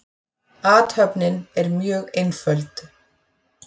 Athöfnin er mjög einföld.